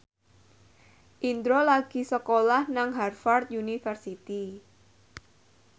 Indro lagi sekolah nang Harvard university